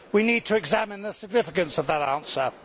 We need to examine the significance of that answer.